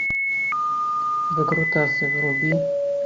выкрутасы вруби